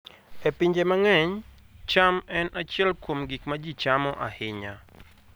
E pinje mang'eny, cham en achiel kuom gik ma ji chamo ahinya.